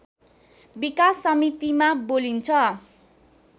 विकास समितिमा बोलिन्छ